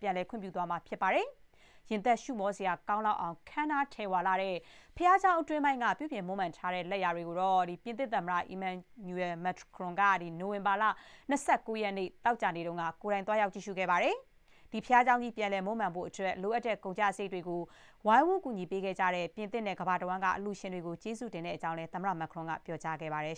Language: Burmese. ပြန်လည် ခွင့်ပြုပေးသွားမှာ ဖြစ်ပါတယ်။ ရင်သပ်ရှုမောစရာ ကောင်းလောက်အောင် ခမ်းနား ထည်ဝလှတဲ့ ဘုရားကျောင်း အတွင်းပိုင်းက ပြုပြုမွမ်းမံထားတဲ့ လက်ရာတွေကို ပြင်သစ် သမ္မတ Emmanuel Macron ကတော့ နိုဝင်ဘာ ၂၉ ရက် သောကြာနေ့ကတော့ ကိုယ်တိုင် သွားရောက် ကြည့်ရှုခဲ့ပါတယ်။ ဒီဘုရားကျောင်းကြီး ပြန်လည် မွမ်းမံဖို့အတွက် လိုအပ်တဲ့ ကုန်ကျစရိတ်တွေကို ဝိုင်းဝန်း ကူညီခဲ့ကြတဲ့ ပြင်သစ်နဲ့ ကမ္ဘာတဝန်းက အလှူရှင်တွေကို ကျေးဇူးတင်ကြောင်းလည်း သမ္မတက ပြောကြားခဲ့ပါတယ်